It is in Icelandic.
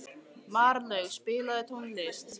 Marlaug, spilaðu tónlist.